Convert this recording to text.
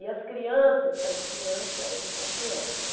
E as crianças, sabe que criança, eles são cruéis, né?